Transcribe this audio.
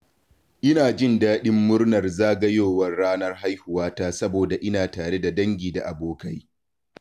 Ina jin daɗin murnar zagayowar ranar haihuwa ta saboda Ina tare da dangi da abokai.